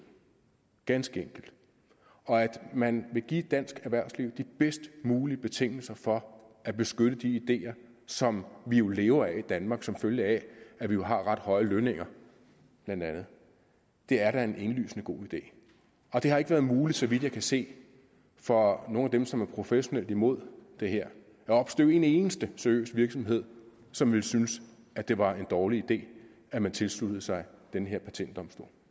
ganske enkelt man vil give dansk erhvervsliv de bedst mulige betingelser for at beskytte de ideer som vi jo lever af i danmark som følge af at vi jo har ret høje lønninger blandt andet det er da en indlysende god idé det har ikke været muligt så vidt jeg kan se for nogen af dem som er professionelt imod det her at opstøve en eneste seriøs virksomhed som ville synes at det var en dårlig idé at man tilsluttede sig den her patentdomstol